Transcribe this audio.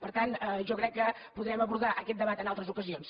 per tant jo crec que podrem abordar aquest debat en altres ocasions